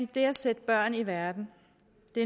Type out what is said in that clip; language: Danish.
det at sætte børn i verden